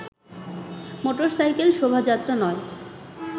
motorcycle শোভাযাত্রা নয়